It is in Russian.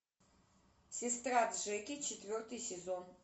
сестра джеки четвертый сезон